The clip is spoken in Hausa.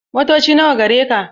Motoci nawa gareka?